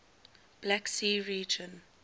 black sea region